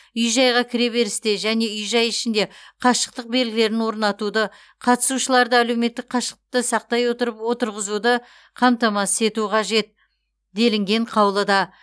үй жайға кіреберісте және үй жай ішінде қашықтық белгілерін орнатуды қатысушыларды әлеуметтік қашықтықты сақтай отырып отырғызуды қамтамасыз ету қажет делінген қаулыда